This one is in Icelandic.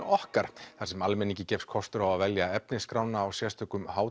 okkar þar sem almenningi gefst kostur á að velja efnisskrána á sérstökum